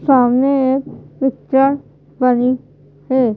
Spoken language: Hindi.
सामने एक पिक्चर बनी है।